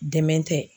Dɛmɛ tɛ